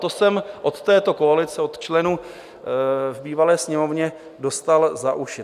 To jsem od této koalice, od členů v bývalé Sněmovně, dostal za uši.